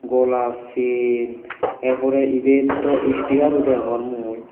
golar chain er pore ibet dw sticker o degongor mui.